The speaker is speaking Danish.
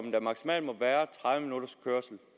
at der maksimalt må være tredive minutters kørsel